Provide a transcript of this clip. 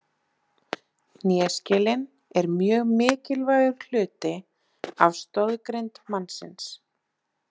Hnéskelin er mjög mikilvægur hluti af stoðgrind mannsins.